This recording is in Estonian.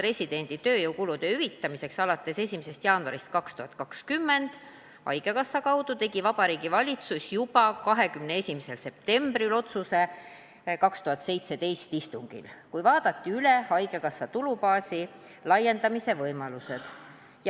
Põhimõttelise otsuse hüvitada alates 1. jaanuarist 2020 arst-residendi tööjõukulud haigekassa kaudu tegi Vabariigi Valitsus juba 21. septembril 2017 peetud istungil, kui vaadati üle haigekassa tulubaasi laiendamise võimalused.